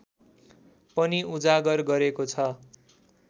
पनि उजागर गरेको छ